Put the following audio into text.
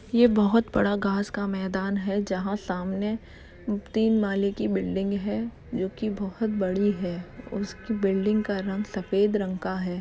ये बहोत बड़ा घास का मैदान है जहाँ सामने तीन माले की बिल्डिंग है जो की बहुत बड़ी है उस बिल्डिंग का रंग सफ़ेद रंग का है।